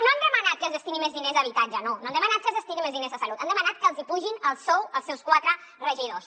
no han demanat que es destinin més diners a habitatge no no han demanat que es destinin més diners a salut han demanat que els hi apugin el sou als seus quatre regidors